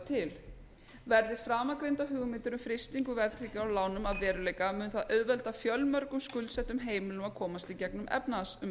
til verði framangreindar hugmyndir um frystingu verðtryggingar á lánum að veruleika mun það auðvelda fjölmörgum skuldsettum heimilum að komast í gegnum